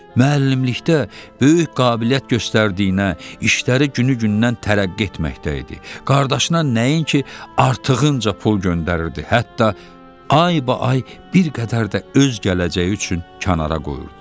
Müəllimlikdə böyük qabiliyyət göstərdiyinə, işləri günü-gündən tərəqqi etməkdə idi, qardaşına nəinki artığınca pul göndərirdi, hətta aybaay bir qədər də öz gələcəyi üçün kənara qoyurdu.